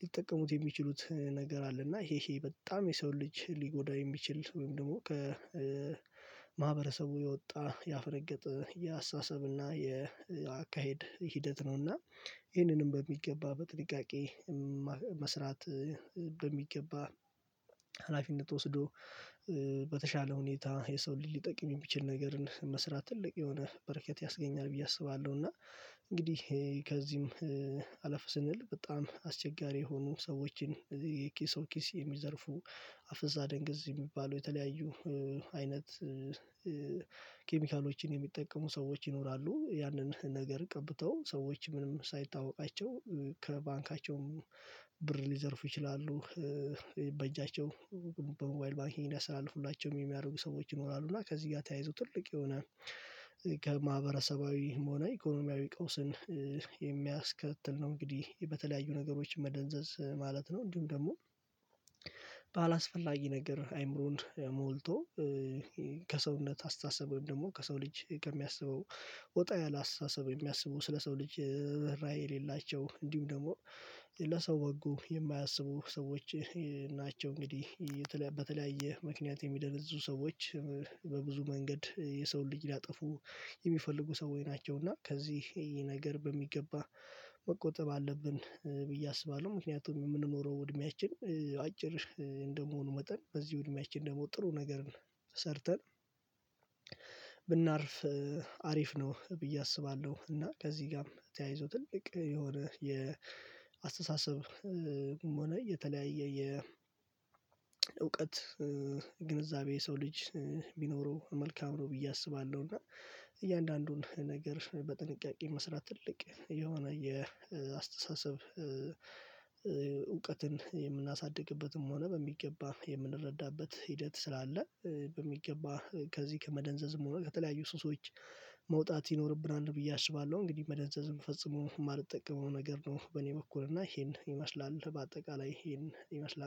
ሊጠቀሙት የሚችሉት ነገር አለ። እና ይሄ ይሄ በጣም የሰው ልጅ ሊጎዳኝ የሚችል ወይም ደግሞ ከማህበረሰቡ የወጣ ያፈነገጠ የአሳሰብ እና የአካሄድ ሂደት ነው። እና ይህንንም በሚገባ በጥንቃቄ መስራት በሚገባ ሀላፊነት ወስዶ በተሻለ ሁኔታ የሰው ሊጠቅም የሚችል ነገርን መስራት ትልቅ የሆነ በረከት ያስገኛል ብዬ አስባለሁ። እና እንግዲህ ከዚህም አለፍ ስንል በጣም አስቸጋሪ የሆኑ ሰዎችን የኪስ ኪስ የሚዘርፉ አፍዛ አደንገዝ የሚባሉ የተለያዩ አይነት ኬሚካሎችን የሚጠቀሙ ሰዎች ይኖራሉ። ያንን ነገር ቀብተው ሰዎች ምንም ሳይታወቃቸው ከባንካቸውም ብር ሊዘርፉ ይችላሉ። በእጃቸው በሞይል ባንክ እንዲያስተላልፉላቸው የሚያረጉ ሰዎች ይኖራሉ። እና ከዚህ ጋር ተያይዞ ትልቅ የሆነ ከማህበረሰባዊም ሆነ ኢኮኖሚያዊ ቀውስን የሚያስከትል ነው። እንግዲህ በተለያዩ ነገሮች መደንዘዝ ማለት ነው። እንዲሁም ደግሞ ባላስፈላጊ ነገር አይምሮን ሞልቶ ከሰውነት አስተሳሰብ ወይም ደግሞ ከሰው ልጅ ከሚያስበው ወጣ ያለ አስተሳሰብ የሚያስበው ስለ ሰው ልጅ ራይ የሌላቸው እንዲሁም ደግሞ ለሰው ወጉ የማያስቡ ሰዎች ናቸው። እንግዲህ በተለያየ ምክንያት የሚደነዝዙ ሰዎች በብዙ መንገድ የሰውን ልጅ ሊያጠፉ የሚፈልጉ ሰዎች ናቸው። እና ከዚህ ይሄ ነገር በሚገባ መቆጠብ አለብን ብዬ አስባለሁ። ምክንያቱም የምንኖረው እድሜያችን አጭር እንደመሆኑ መጠን በዚህ እድሜያችን ደግሞ ጥሩ ነገር ሰርተን ብናርፍ አሪፍ ነው። ብዬ አስባለሁ። እና ከዚህ ጋም ተያይዞ ትልቅ የሆነ የአስተሳሰብም ሆነ የተለያየ የእውቀት ግንዛቤ ሰው ልጅ ቢኖረው መልካም ነው። ብዬ አስባለሁ። እና እያንዳንዱን ነገር በጥንቃቄ መስራት ትልቅ የሆነ የአስተሳሰብ እውቀትን የምናሳድግበትም ሆነ በሚገባ የምንረዳበት ሂደት ስላለ በሚገባ ከዚህ ከመደንዘዝም ሆነ ከተለያዩ ሱሶች መውጣት ይኖርብናል ብዬ አስባለሁ። እንግዲህ መደንዘዝም ፈጽሞ የማልጠቀመው ነገር ነው። በኔ በኩል እና ይሄን ይመስላል በአጠቃላይ ይሄን ይመስላል